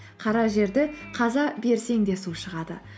қара жерді қаза берсең де су шығады